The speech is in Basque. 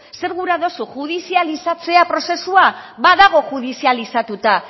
zer gura dozu judizializatzea prozesua badago judizializatuta